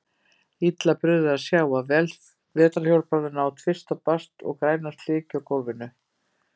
Illa brugðið að sjá vetrarhjólbarðana á tvist og bast og græna slikju á gólfinu.